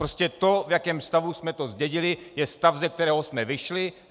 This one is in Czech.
Prostě to, v jakém stavu jsme to zdědili, je stav, ze kterého jsme vyšli.